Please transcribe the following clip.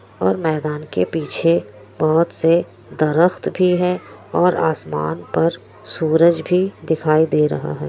और मैदान के पीछे बहुत से दरख़्त भी है और आसमान पर सूरज भी दिखाई दे रहा है।